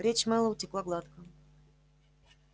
речь мэллоу текла гладко